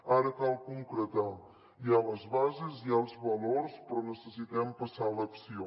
ara cal concretar hi ha les bases hi ha els valors però necessitem passar a l’acció